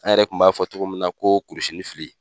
An yɛrɛ kun b'a fɔ togo min na ko kurusini fili